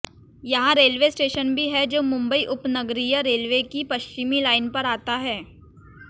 यहां railway station भी है जो मुंबई उपनगरीय रेलवे की पश्चिमी लाइन पर आता है